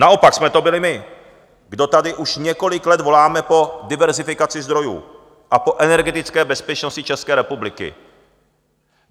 Naopak jsme to byli my, kdo tady už několik let voláme po diverzifikaci zdrojů a po energetické bezpečnosti České republiky.